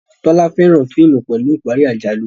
Tola féràn fíìmù pẹlú ìparí àjálù